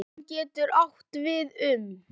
Stofn getur átt við um